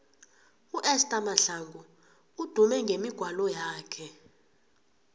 uesther mahlangu udume ngemigwalo yakhe